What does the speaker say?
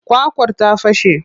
Kwakwar ta fashe.